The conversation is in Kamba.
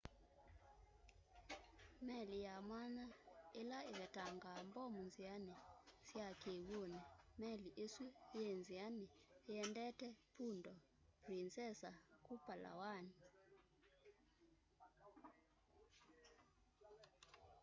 meli ya mwanya ila ivetangaa mbomu nziani sya kiw'uni meli isu yii nziani iendete puerto princesa ku palawan